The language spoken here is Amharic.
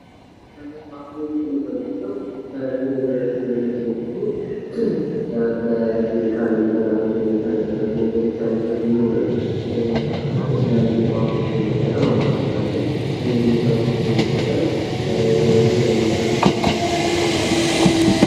የባህላዊ ህክምና የምንለዉ ከዘመናዊ ህክምና ተለይቶ በኬሜካልም ሆነ በላብራቶሪ ያልተረጋገጠ ነገሮች ያሉበት ቢሆንም የተለያዩ እፅዋቶችን በመጠቀም አባቶቻችን እነዚህን እፅዋቶች በመጠቀም ለተለያዩ ሰዎች መድኃኒት የሚያቀርቡበት ሂደት ነዉ።